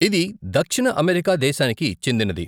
ఇది దక్షిణ అమెరికా దేశానికి చెందినది.